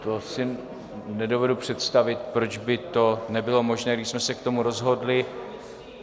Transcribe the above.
To si nedovedu představit, proč by to nebylo možné, když jsme se k tomu rozhodli.